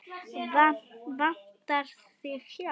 Vantar þig hjálp?